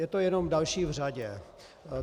Je to jenom další v řadě.